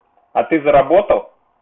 а ты заработал